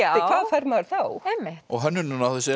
hvað fær maður þá einmitt og hönnunin á þessu er